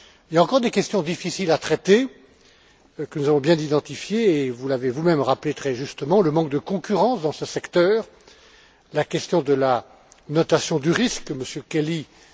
Il y a encore des questions difficiles à traiter, que nous avons bien identifiées et vous l'avez vous même rappelé très justement le manque de concurrence dans ce secteur, la question de la notation du risque souverain, que M.